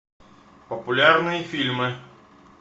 популярные фильмы